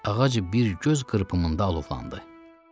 Ağac bir göz qırpımında alovlandı.